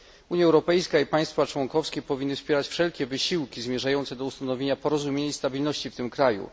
Unia Europejska i państwa członkowskie powinny wspierać wszelkie wysiłki zmierzające do ustanowienia porozumienia i stabilności w tym kraju.